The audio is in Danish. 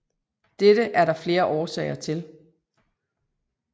Dette er der flere årsager til